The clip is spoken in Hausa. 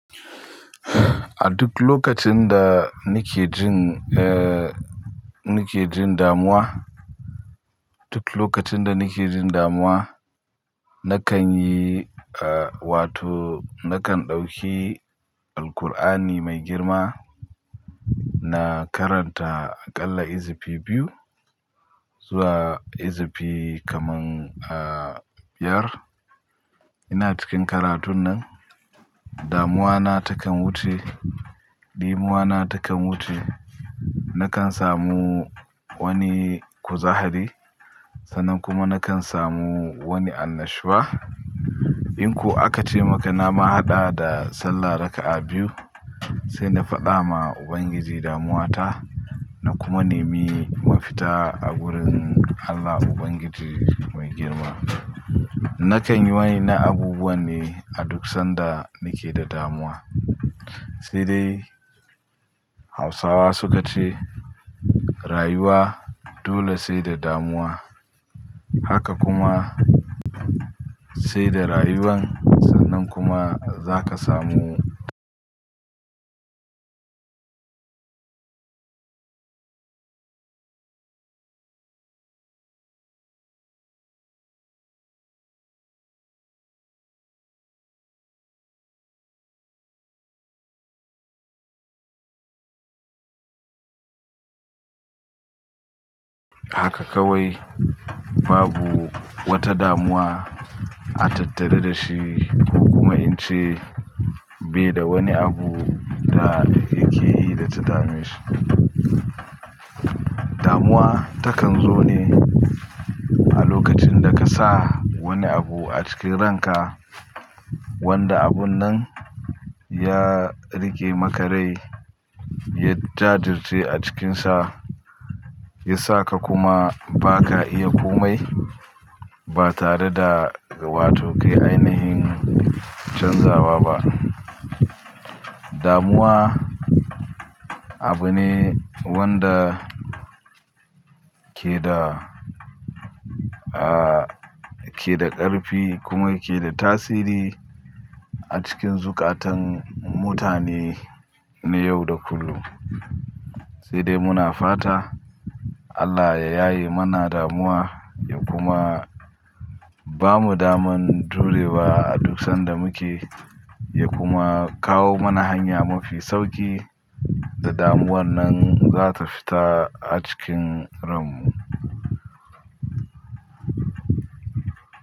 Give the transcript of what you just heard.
A duk lokacin da nake jin, eh, nake jin damuwa, duk lokacin da nake jin damuwa nakan yi wato nakan ɗauki Alqur'ani mai girma na karanta aƙalla izifi biyu zuwa izifi kaman, eh, biyar. Ina cikin karatun nan damuwa na takan wuce, ɗimuwa na takan wuce. Nakan samu wani kuzahari sannan kuma nakan samu wani annashuwa. In ku aka ce maka na mahada da sallah raka'a biyu sai na faɗa ma Ubangiji damuwa ta na kuma nemi mafita a wurin Allah Ubangiji mai girma. Nakan yi wani na abubuwa ne a duk sanda nake da damuwa. Sai dai Hausawa su ka ce "Rayuwa dole sai da damuwa haka kuma sai da rayuwan sannan kuma za ka samu haka kawai babu wata damuwa a tattari da shi kuma in ce bai da wani abu da yake yi da ta dameshi. Damuwa takan zo ne a lokacin da ka sa wani abu a cikin ranka wanda abun nan ya riƙe maka rai, ya jajirtai a cikinsa, ya sa ka kuma ba ka iya komai ba tare da wato kai ainihin canzawa ba. Damuwa abu ne wanda ke da, ah, ke da ƙarfi kuma yake da tasiri a cikin zukatan mutane na yau da kullum. Sai dai muna fata Allah ya yaye mana damuwa ya kuma bamu daman turewa a duk sanda muke ya kuma kawo mana hanya mafi sauƙi da damuwar nan za ta fita a cikin ranmu.